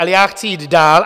Ale já chci jít dál.